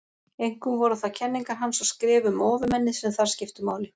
Einkum voru það kenningar hans og skrif um ofurmennið sem þar skiptu máli.